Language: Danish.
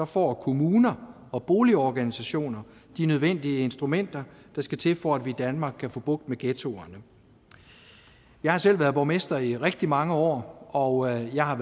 får kommuner og boligorganisationer de nødvendige instrumenter der skal til for at vi i danmark kan få bugt med ghettoerne jeg har selv været borgmester i rigtig mange år og jeg har